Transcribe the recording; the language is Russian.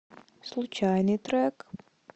случайный трек